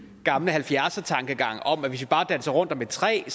gamle halvfjerds tankegang om at hvis vi bare danser rundt om et træ